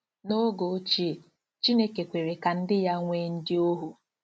N’oge ochie, Chineke kwere ka ndị ya nwee ndị ohu.